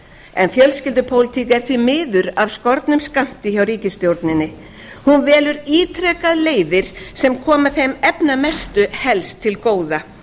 en fjölskyldupólitík er því miður af skornum skammti hjá ríkisstjórninni hún velur ítrekað leiðir sem koma þeim efnamestu helst til góða